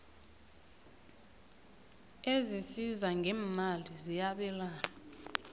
ezisiza ngeemali ziyabelana